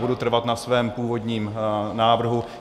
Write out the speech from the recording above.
Budu trvat na svém původním návrhu.